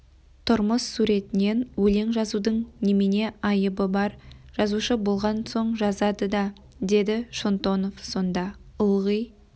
тұрмыс суретінен өлең жазудың немене айыбы бар жазушы болған соң жазады да деді шонтонов сонда ылғи